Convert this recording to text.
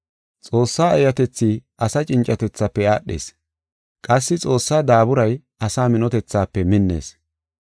Xoossa eeyatethi asa cincatethafe aadhees; qassi Xoossa daaburay asa minotethafe minnees.